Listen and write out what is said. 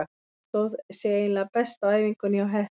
Sonja stóð sig eiginlega best á æfingunni hjá Hetti.